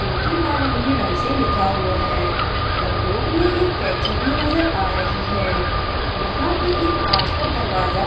जो कि नारंगी रंग से लिखा हुआ है और बोर्ड में एक कैची भी नजर आ रही है यहां पे एक कांच का दरवाजा --